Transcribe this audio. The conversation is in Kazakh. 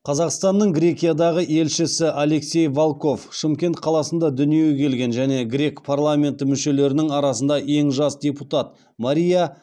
қазақстанның грекиядағы елшісі алексей волков шымкент қаласында дүниеге келген және грек парламенті мүшелерінің арасында ең жас депутат мария